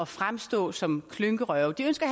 fremstå som klynkerøve og de ønsker